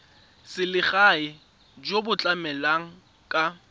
selegae jo bo tlamelang ka